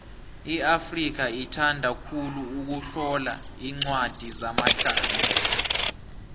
iafrika ithanda khulu ukutlola incwadi zamahlaya